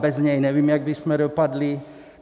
Bez něj nevím, jak bychom dopadli.